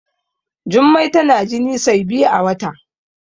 Jummai tana jini sai biyu a wata